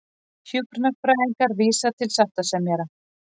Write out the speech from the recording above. Hjúkrunarfræðingar vísa til sáttasemjara